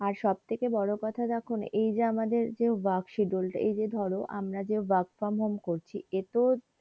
সব থেকে বড়ো কথা দেখোনা এই যে আমাদের যে work schedule টা এই যে ধরো আমরা যে work from home করছি এতো